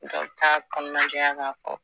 Dɔw t'a kɔnɔnajɛya ka fɔ